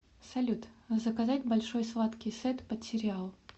салют заказать большой сладкий сет под сериал